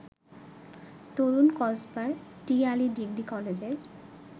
তরুণ কসবার টিআলী ডিগ্রি কলেজের